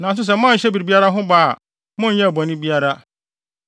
Nanso sɛ moanhyɛ biribiara ho bɔ a, monyɛɛ bɔne biara.